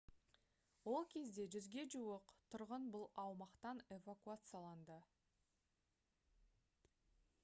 ол кезде 100-ге жуық тұрғын бұл аумақтан эвакуацияланды